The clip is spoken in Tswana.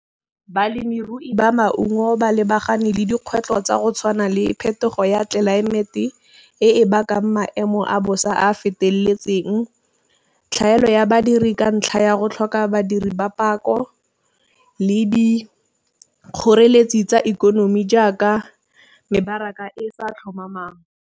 Balemirui ba maungo ba lebagane le dikgwetlho tsa go tshwana le phetogo ya tlelaemete e e bakang maemo a bosa a a feteletseng, tlhaelo ya badiri ka ntlha ya go tlhoka badiri ba pako le di kgoreletsi tsa ikonomi jaaka, mebaraka e sa tlhomamang.